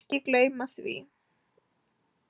Ekki gleyma því.